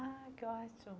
Ah, que ótimo.